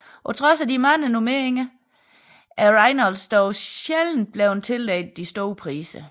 På trods af de mange nomineringer er Reynolds dog sjældent blevet tildelt de store priser